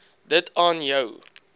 dit aan jou